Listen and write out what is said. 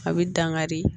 A bɛ dankari